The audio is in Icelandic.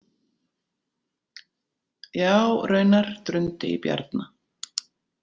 Já, raunar, drundi í Bjarna.